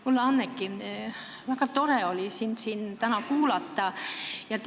Kulla Anneki, väga tore oli sind siin täna kuulata!